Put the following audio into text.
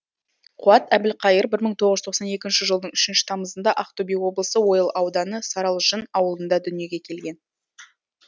қуат әбілқайыр бір мың тоғыз жүз тоқсан екінші жылдың үшінші тамызында ақтөбе облысы ойыл ауданы саралжын ауылында дүниеге келген